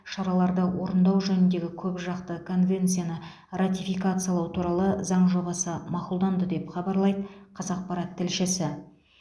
шараларды орындау жөніндегі көпжақты конвенцияны ратификациялау туралы заң жобасы мақұлданды деп хабарлайды қазақпарат тілшісі